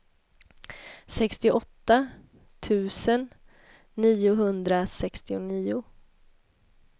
sextioåtta tusen niohundrasextionio